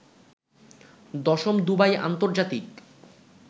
১০ম Dubai আন্তর্জাতিক